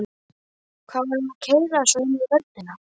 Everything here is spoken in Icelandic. Hvað var hann að keyra svona inn í vörnina?